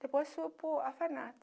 Depois fui para o orfanato.